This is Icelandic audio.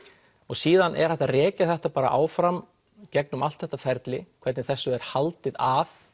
síðan er hægt að rekja þetta bara áfram gegnum allt þetta ferli hvernig þessu er haldið að